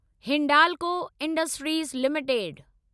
Hindalco industries limited